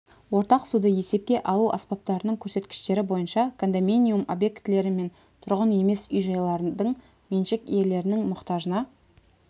ортақ суды есепке алу аспаптарының көрсеткіштері бойынша кондоминиум объектілері мен тұрғын емес үй-жайлардың меншік иелерінің мұқтажына